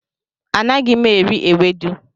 Anaghị m eri ewedu.